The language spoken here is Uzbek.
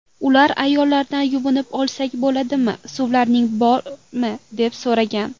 Ular ayollardan yuvinib olsak bo‘ladimi, suvlaring bormi deb so‘ragan.